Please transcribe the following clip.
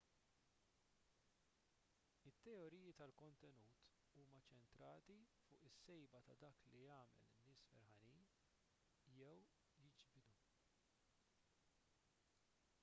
it-teoriji tal-kontenut huma ċċentrati fuq is-sejba ta' dak li jagħmel in-nies ferħanin jew jiġbidhom